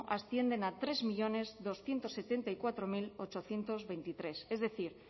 ascienden a tres millónes doscientos setenta y cuatro mil ochocientos veintitrés es decir